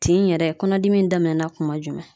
Tin in yɛrɛ kɔnɔ dimi in daminɛna kuma jumɛn?